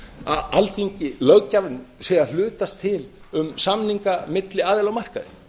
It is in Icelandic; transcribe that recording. að alþingi löggjafinn sé að hlutast til um samninga milli aðila á markaði